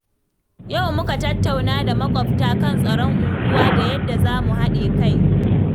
Yau muka tattauna da maƙwabta kan tsaron unguwa da yadda za mu haɗa kai.